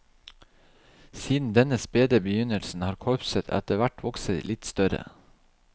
Siden denne spede begynnelsen har korpset etter hvert vokst seg litt større.